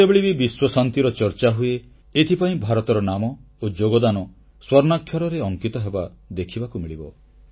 ଯେତେବେଳେ ବି ବିଶ୍ୱଶାନ୍ତିର ଚର୍ଚ୍ଚାହୁଏ ଏଥିପାଇଁ ଭାରତର ନାମ ଓ ଯୋଗଦାନ ସ୍ୱର୍ଣ୍ଣାକ୍ଷରରେ ଅଙ୍କିତ ହେବା ଦେଖିବାକୁ ମିଳିବ